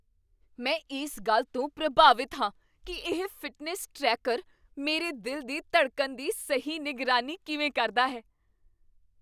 ਮੈਂ ਇਸ ਗੱਲ ਤੋਂ ਪ੍ਰਭਾਵਿਤ ਹਾਂ ਕੀ ਇਹ ਫਿਟਨੈਸ ਟਰੈਕਰ ਮੇਰੇ ਦਿਲ ਦੀ ਧੜਕਣ ਦੀ ਸਹੀ ਨਿਗਰਾਨੀ ਕਿਵੇਂ ਕਰਦਾ ਹੈ।